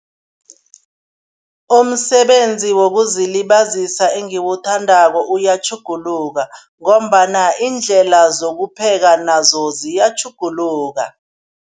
Umsebenzi wokuzilibazisa engiwuthandako uyatjhuguluka ngombana iindlela zokupheka nazo ziyatjhuguluka.